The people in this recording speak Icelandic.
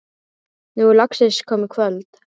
Nú er loksins komið kvöld.